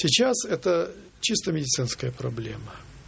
сейчас это чисто медицинская проблема